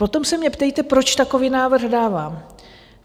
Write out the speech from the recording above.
Potom se mě ptejte, proč takový návrh dávám.